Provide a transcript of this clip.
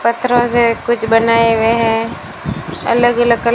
पत्थरों से कुछ बनाए हुए है अलग अलग कल--